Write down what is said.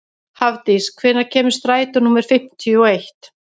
Hafdís, hvenær kemur strætó númer fimmtíu og eitt?